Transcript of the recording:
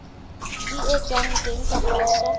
di etswang teng ka poso